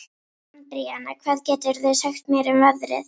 Andríana, hvað geturðu sagt mér um veðrið?